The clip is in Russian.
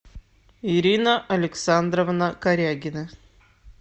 ирина александровна корягина